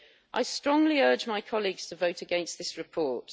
I strongly urge my colleagues to vote against this report.